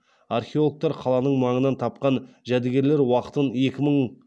археологтар қаланың маңынан тапқан жәдігерлер уақытын екі мың